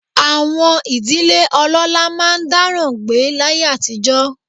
Àwọn ìdílé ọlọ́lá máa ń dáràn gbé láyé àtijọ́